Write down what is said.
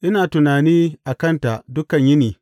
Ina tunani a kanta dukan yini.